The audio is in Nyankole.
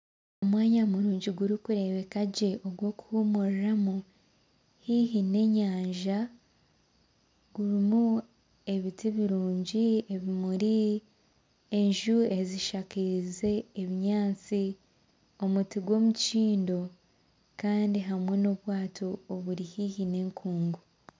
Omwanya murungi gw'okureebeka gye ogw'okuhuumuriramu haihi n'enyanja gurimu ebiti birungi ebiti birungi ebimuri enju ezishakiize ebinyatsi omutima gw'omukindo Kandi hamwe n'obwato oburi haihi n'enkungu